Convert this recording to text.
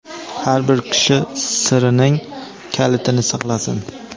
har bir kishi sirining kalitini saqlasin.